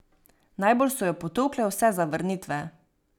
Najbolj so jo potolkle vse zavrnitve.